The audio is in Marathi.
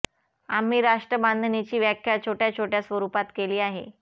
आम्ही राष्ट्र बांधणीची व्याख्या छोट्या छोट्या स्वरूपात केली आहे